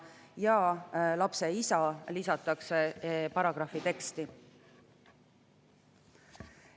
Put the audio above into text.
Paragrahvi teksti lisatakse "ja isa".